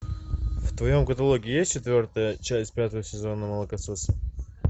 в твоем каталоге есть четвертая часть пятого сезона молокососы